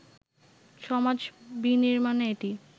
সমাজ বিনির্মাণে এটি